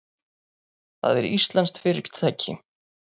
Það er íslenskt fyrirtæki.